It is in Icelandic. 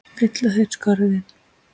Fylla þeir skörðin?